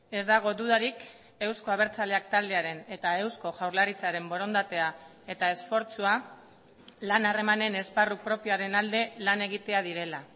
ez dago dudarik euzko abertzaleak taldearen eta eusko jaurlaritzaren borondatea eta esfortzua lan harremanen esparru propioaren alde lan egitea direla